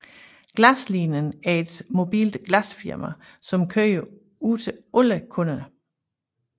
Glaslinien var et mobilt glasfirma som kørte ud til alle kunderne